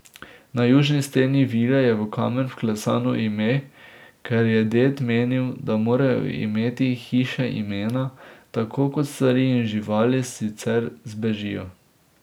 Na južni steni vile je v kamen vklesano ime, ker je ded menil, da morajo imeti hiše imena, tako kot stvari in živali, sicer zbežijo.